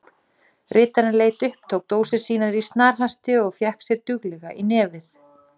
Ritarinn leit upp, tók dósir sínar í snarhasti og fékk sér duglega í nefið.